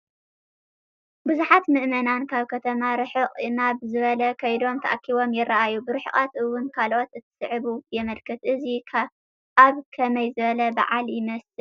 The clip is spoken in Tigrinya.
ብዙሓት ምእመናን ካብ ከተማ ርሕቕ ናብ ዝበለ ከይዶምን ተኣኪቦምን ይራኣዩ፡፡ ብርሕቐት ውን ካልኦት እንትስዕቡ የመልክት፡፡ እዚ ኣብ ከመይ ዝበለ በዓል ይመስል?